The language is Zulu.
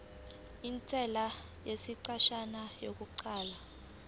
intela yesikhashana yokuqala